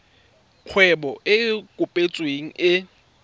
kgwebo e e kopetsweng e